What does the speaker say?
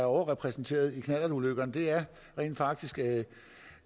overrepræsenteret i knallertulykkerne det er rent faktisk